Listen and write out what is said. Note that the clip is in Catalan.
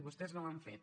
vostès no ho han fet